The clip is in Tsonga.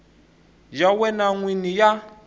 ya wena n wini ya